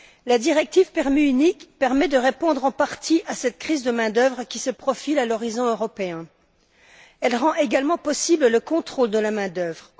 La directive permis unique permet de répondre en partie à cette crise de main d'œuvre qui se profile à l'horizon européen. Elle rend également possible le contrôle de la main d'œuvre.